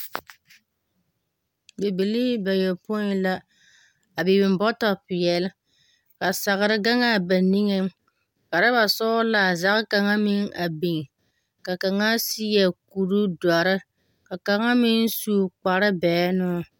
Bibilii bayopõi la biŋ bɔtɔ peɛle. Ka sagere gaŋ a ba niŋeŋ ka urɔba sɔgela zage kaŋa meŋ a biŋ ka kaŋa seɛ kuri doɔre ka kaŋa meŋ su kpare bɛŋenoo.